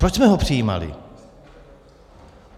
Proč jsme ho přijímali?